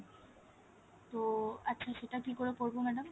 তো আচ্ছা সেটা কি করে করবো madam